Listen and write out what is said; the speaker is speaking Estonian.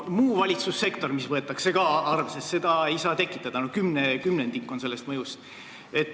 Muu valitsussektor, mida ka arvesse võetakse, ei saa seda tekitada, sest on kümnendik sellest mõjust.